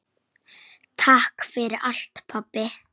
Takk fyrir allt pabbi.